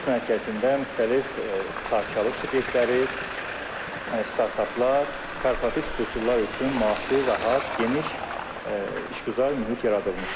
Biznes mərkəzində müxtəlif sahibkarlıq subyektləri, startaplar, korporativ strukturlar üçün müasir, rahat, geniş işgüzar mühit yaradılmışdır.